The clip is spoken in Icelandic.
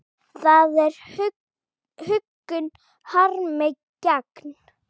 Það er huggun harmi gegn.